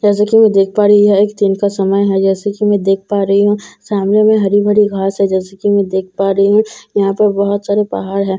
जैसा कि मैं देख पा रही हूं यह एक दिन का समय है जैसा कि मैं देख पा रही हूं सामने में हरी भरी घास है जैसा कि मैं देख पा रही हूं यहां पर बहुत सारे पहाड़ है जैसा कि मैं--